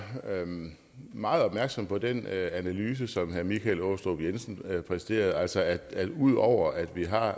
meget opmærksom på den analyse som herre michael aastrup jensen præsterede altså at ud over at vi har har